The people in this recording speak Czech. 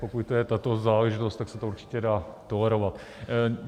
Pokud je to tato záležitost, tak se to určitě dá tolerovat.